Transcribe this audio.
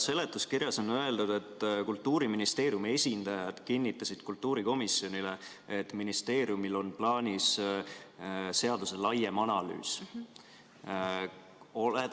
Seletuskirjas on öeldud, et Kultuuriministeeriumi esindajad kinnitasid kultuurikomisjonile, et ministeeriumil on plaanis seaduse laiem analüüs.